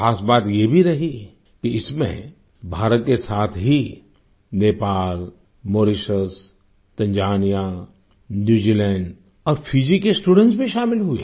खास बात ये भी रही कि इसमें भारत के साथ ही नेपाल मौरिशस तंजानिया न्यूजीलैंड और फीजी के स्टूडेंट्स भी शामिल हुए